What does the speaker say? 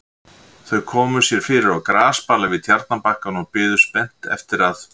Þau komu sér fyrir á grasbala við tjarnarbakkann og biðu spennt eftir að